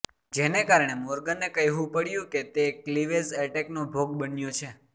જેને કારણે મોર્ગને કહેવું પડ્યું હતું કે તે ક્લિવેજ એટેકનો ભોગ બન્યો છે